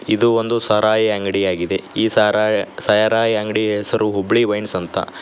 ಇದು ಒಂದು ಸಾರಾಯಿ ಅಂಗಡಿಯಾಗಿದೆ ಈ ಸೈರಾಯಿ ಸಾರಾಯಿ ಅಂಗಡಿ ಹೆಸರು ಹುಬ್ಬಳ್ಳಿ ವೈನ್ಸ್ ಅಂತ.